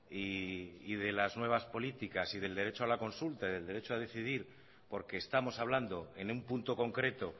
y de las nuevas políticas y del derecho a la consulta y del derecho a decidir porque estamos hablando en un punto concreto